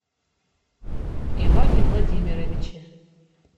иване владимировиче